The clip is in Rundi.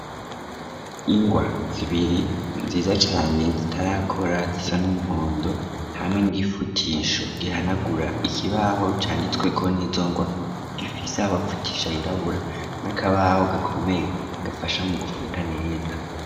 Ingwa zibiri nziza cane zitarakora zisa n'umuhondo , hamwe n'igifutisho gihanagura ikibaho canditsweko n'izo ngwa gifise aho bafutisha hirabura , n'akabaho gakomeye gafasha mu gufuta neza.